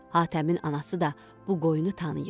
Hatəmin anası da bu qoyunu tanıyırdı.